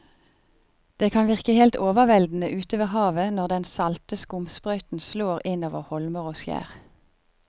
Det kan virke helt overveldende ute ved havet når den salte skumsprøyten slår innover holmer og skjær.